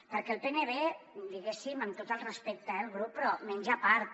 perquè el pnb diguéssim amb tot el respecte eh al grup però menja a part